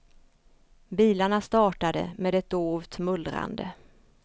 Bilarna startade med ett dovt mullrande.